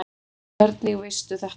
Hvernig veistu þetta?